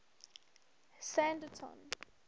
standerton